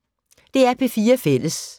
DR P4 Fælles